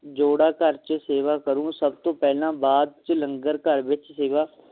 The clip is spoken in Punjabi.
ਜੋੜਾ ਘਰ ਚ ਸੇਵਾ ਕਰੁ ਸਭ ਤੋਂ ਪਹਿਲਾਂ ਬਾਅਦ ਚ ਲੰਗਰ ਘਰ ਵਿਚ ਸੇਵਾ